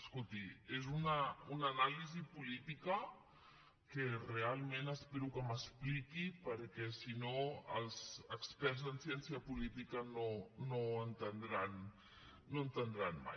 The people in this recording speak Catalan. escolti és una anàlisi política que realment espero que m’expliqui perquè si no els experts en ciència política no ho entendran mai